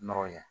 Nɔrɔ ye